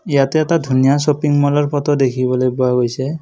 ইয়াতে এটা ধুনীয়া শ্বপিং ম'লৰ ফটো দেখিবলৈ পোৱা গৈছে।